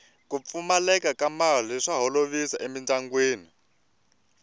ku pfumaleka ka mali swa holovisa emindyangwini